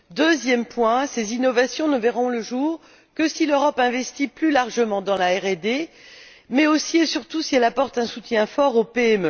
Deuxième point ces innovations ne verront le jour que si l'Europe investit plus largement dans la RD, mais aussi et surtout que si elle apporte un soutien fort aux PME.